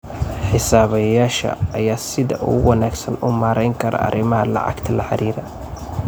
Xisaabiyeyaasha ayaa sida ugu wanaagsan u maareyn kara arrimaha lacagta la xiriira.